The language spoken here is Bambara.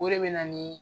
O de bɛ na ni